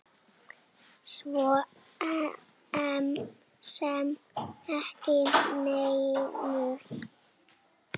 Svo sem ekki neinu.